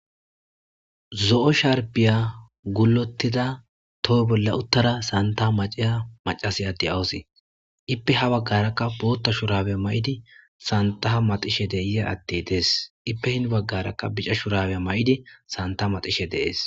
zo7o sharpiya gulotida toho bolla uttara santah macaya macasi adde awusee ippe ha baggarakka bootta shurabe ma7idi santaha maxishe deiya atte dees ippe hin baggarakka bica shurabey ma7idi santa maxishe de'es